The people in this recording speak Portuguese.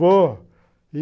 Vou.